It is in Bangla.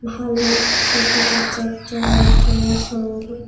ভাল্লুক দেখা যাচ্ছে একজন আরেকজনের সঙ্গে--